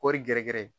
Kɔɔri gɛrɛ gɛrɛ